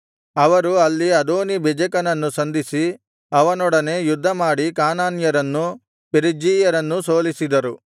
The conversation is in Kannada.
ಅವರು ಅಲ್ಲಿ ಅದೋನೀ ಬೆಜೆಕನನ್ನು ಸಂಧಿಸಿ ಅವನೊಡನೆ ಯುದ್ಧಮಾಡಿ ಕಾನಾನ್ಯರನ್ನೂ ಪೆರಿಜ್ಜೀಯರನ್ನೂ ಸೋಲಿಸಿದರು